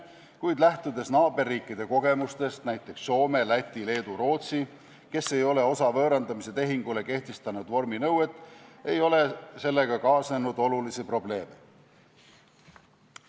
Kuid lähtudes naaberriikide kogemusest, näiteks Soome, Läti, Leedu, Rootsi, kes ei ole osa võõrandamise tehingule kehtestanud vorminõuet, saab öelda, et sellega ei ole kaasnenud olulisi probleeme.